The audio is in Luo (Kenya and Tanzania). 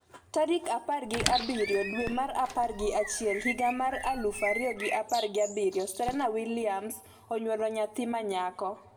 tarik apar gi abiriyo dwe mar apar gi achiel higa mar aluf ariyo gi apar gi abiriyo Serena Williams onyuolo nyathi ma nyako